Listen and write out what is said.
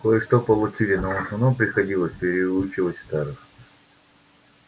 кое-что получили но в основном приходилось переучивать старых